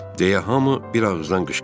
deyə hamı bir ağızdan qışqırdı.